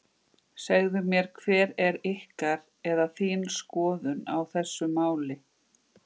Segðu mér hver er ykkar, eða þín skoðun á þessu máli?